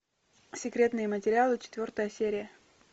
секретные материалы четвертая серия